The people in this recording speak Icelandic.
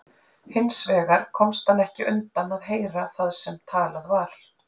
Hins vegar komst hann ekki undan að heyra það sem talað var.